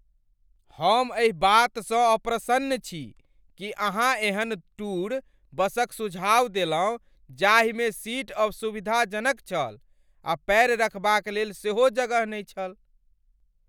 हम एहि बातसँ अप्रसन्न छी कि अहाँ एहन टूर बसक सुझाव देलहुँ जाहिमे सीट असुविधाजनक छल आ पैर रखबाक लेल सेहो जगह नहि छल।